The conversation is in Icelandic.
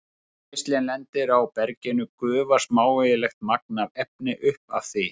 Þegar geislinn lendir á berginu gufar smávægilegt magn af efni upp af því.